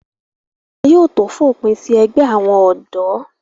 wọn yóò tó fòpin sí ẹgbẹ́ àwọn ọ̀dọ́